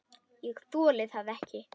ÉG ÞOLI ÞAÐ EKKI!